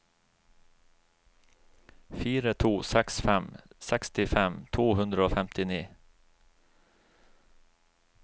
fire to seks fem sekstifem to hundre og femtini